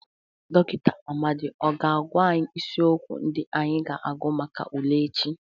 Dọkịnta Amadị ọ ga-agwa anyị isiokwu ndị anyị ga-agụ maka ule echi?